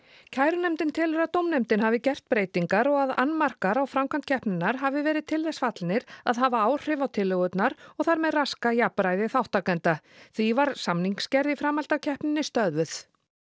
kærunefndin telur að dómnefndin hafi gert breytingar og að annmarkar á framkvæmd keppninnar hafi verið til þess fallnir að hafa áhrif á tillögurnar og þar með raska jafnræði þátttakenda því var samningsgerð í framhaldi af keppninni stöðvuð